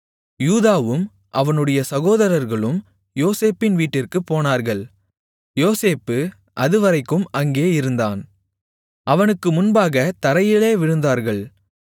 யூதாவும் அவனுடைய சகோதரர்களும் யோசேப்பின் வீட்டிற்குப் போனார்கள் யோசேப்பு அதுவரைக்கும் அங்கே இருந்தான் அவனுக்கு முன்பாகத் தரையிலே விழுந்தார்கள்